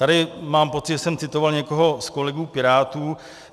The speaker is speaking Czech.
Tady mám pocit, že jsem citoval někoho z kolegů pirátů.